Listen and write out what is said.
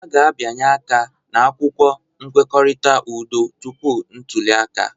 A ga-abịanye aka n'akwụkwọ nkwekọrịta udo tupu ntuli aka